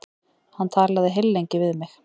Hann talaði heillengi við mig.